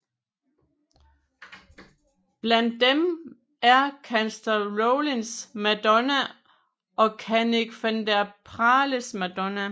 Blandt dem er Kansler Rollins madonna og Kanik van der Paeles madonna